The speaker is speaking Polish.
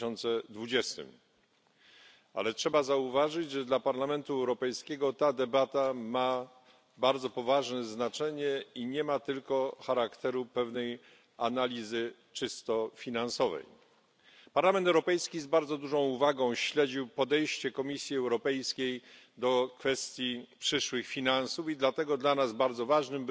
2020. Ale trzeba zauważyć, że dla Parlamentu Europejskiego ta debata ma bardzo poważne znaczenie i nie ma tylko charakteru pewnej analizy czysto finansowej. Parlament Europejski z bardzo dużą uwagą śledził podejście Komisji Europejskiej do kwestii przyszłych finansów i dlatego dla nas bardzo ważnym